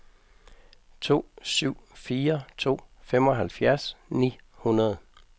to syv fire to femoghalvfjerds ni hundrede